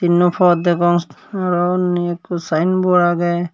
tinno pod degong aro undi ekko sayenbod agey.